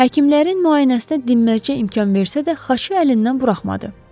Həkimlərin müayinəsinə dinməzçə imkan versə də xaçı əlindən buraxmadı.